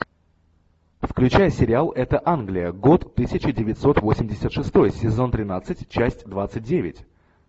включай сериал это англия год тысяча девятьсот восемьдесят шестой сезон тринадцать часть двадцать девять